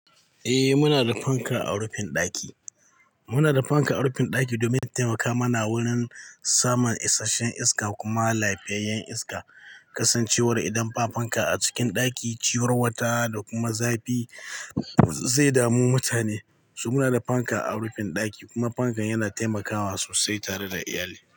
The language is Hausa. Eh muna da fanka a rufin ɗaki. Muna da fanka a rufin ɗaki domin taimaka mana wurin samun isasshen iska kuma lafiyayyen iska. Kasancewar idan ba fanka a cikin ɗaki, ciwon wata da kuma zafi zai damu mutane. So muna da fanka a rufin ɗaki kuma fankan yana taimakawa sosai tare da iyali.